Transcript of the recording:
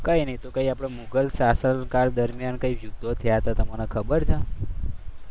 કઈ નઈ આપણે મુઘલ શાસન દરમિયાન કઈ યુદ્ધ થયા હતા તમને ખબર છે?